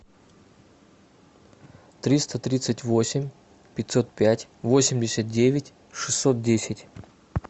триста тридцать восемь пятьсот пять восемьдесят девять шестьсот десять